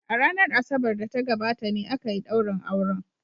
A ranar Asabar da ta gabata ne aka yi daurin auren.